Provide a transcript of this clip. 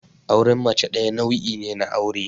Auren mace ɗaya nau'i ne na aure.